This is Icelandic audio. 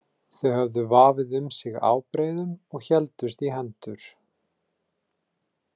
Þau höfðu vafið um sig ábreiðum og héldust í hendur.